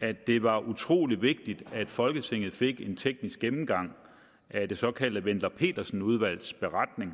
at det var utrolig vigtigt at folketinget fik en teknisk gennemgang af det såkaldte wendler pedersen udvalgs beretning